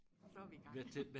så er vi i gang